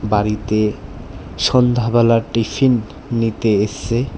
বাড়িতে সন্ধ্যাবেলার টিফিন নিতে এসসে।